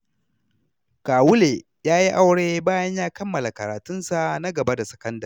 Kawule ya yi aure bayan ya kammala karatunsa na gaba da sakandare.